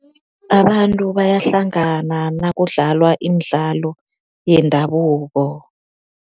Abantu bayahlangana nakudlalwa imidlalo yendabuko.